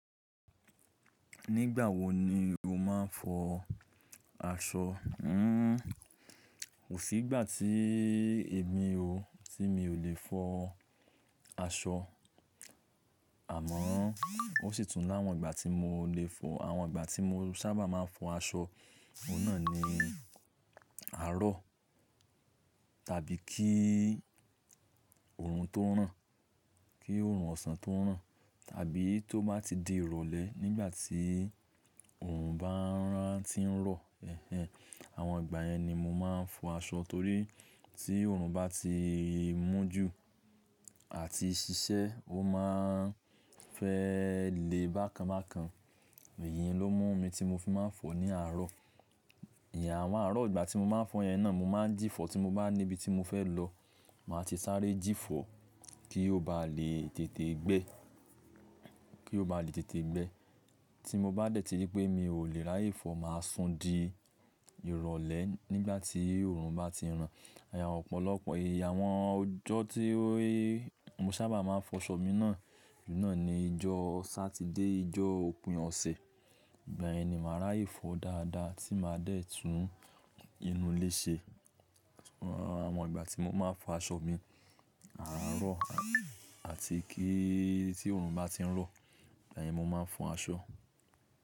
Nígbà wo ni o máa ń fọ aṣọ? Hmm, kò sí ìgbà tí èmi o, tí mi ò le fọ aṣọ. Àmọ́, ó sì tún láwọn ìgbà tí mo lè fọ. Àwọn ìgbà tí mo sábà máa ń fọ aṣọ, òun náà ni àárọ̀ tàbí kí oòrùn tó ràn, kí oòrùn ọ̀sán tó ràn tàbí tó bá ti di ìrọ̀lẹ́ nígbà tí oòrùn bá ń rántí ń rọ̀. Ẹ̀hẹ̀n. Àwọn ìgbà yẹn ni mo máa ń fọ aṣọ torí tí oòrùn bá ti mú jù àti ṣiṣẹ́, ó máa ń fẹ́ lè bákan bákan. Èyì ló mú mi tí mo fi máa ń fọ ní àárọ̀. Ìyàn, àwọn àárọ̀ ìgbà tí mo máa ń fọ yẹn náà, mo máa ń jìfọ̀ tí mo bá níbi tí mo fẹ́ lọ. Màá ti sáré jìfọ̀ kí ó bá lè tètè gbẹ́, kí ó bá lè tètè gbẹ́. Tí mo bá dẹ̀ tí ri pé mi ò lè ráye fọ̀, màá sùn di ìrọ̀lẹ́ nígbà tí oòrùn bá ti ràn. Àwon ọ̀pọ̀lọpọ̀ èèyà àwọn ọjọ́ tí ó, mo sábà máa ń fọ aṣọ mi náà, òun náà ni ijọ́ Satide, ijọ́ òpin ọ̀sẹ̀. Ìgbà yẹn ni màá ràye fọ̀ dáadáa tí màá dẹ̀ tún inú ilé ṣe. Àwọn ìgbà tí mo máa ń fọ aṣọ mi, àárọ̀ àti kí i tí oòrùn bá ti ń rọ̀, igba yẹn mo máa ń fọ aṣọ.